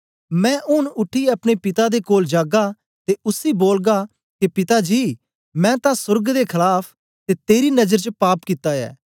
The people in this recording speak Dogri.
मैं ऊन उठीयै अपने पिता दे कोल जागा ते उसी बोलगा के पिता जी मैं तां सोर्ग दे खलाफ ते तेरी नजर च पाप कित्ता ऐ